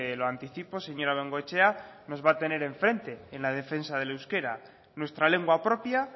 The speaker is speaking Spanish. lo anticipo señora bengoechea nos va a tener en frente en la defensa del euskera nuestra lengua propia